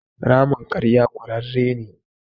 Ramin ƙarya ƙurarre ne.